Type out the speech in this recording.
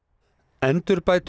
endurbætur